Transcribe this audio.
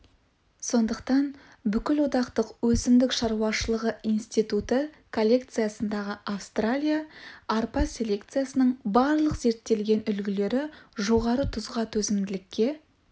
сондықтан бүкілодақтық өсімдік шаруашылығы институты коллекциясындағы австралия арпа селекциясының барлық зерттелген үлгілері жоғары тұзға төзімділікке